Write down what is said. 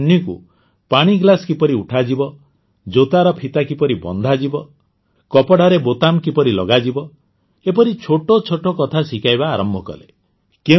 ସେ ଅନ୍ୱୀକୁ ପାଣିଗ୍ଲାସ୍ କିପରି ଉଠାଯିବ ଜୋତାର ଫିତା କିପରି ବନ୍ଧାଯିବ କପଡ଼ାର ବୋତାମ କିପରି ଲଗାଯିବ ଏପରି ଛୋଟ ଛୋଟ କଥା ଶିଖାଇବା ଆରମ୍ଭ କଲେ